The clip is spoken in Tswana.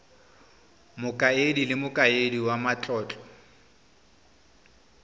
mokaedi le mokaedi wa matlotlo